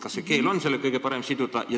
Kas on õige siduda seda keelega?